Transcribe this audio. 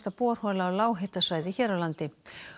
borhola á lághitasvæði hér á landi